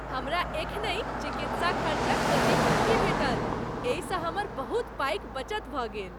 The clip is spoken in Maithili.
हमरा एखनहि चिकित्सा खर्चक प्रतिपूर्ति भेटल , एहिसँ हमर बहुत पाइक बचत भऽ गेल।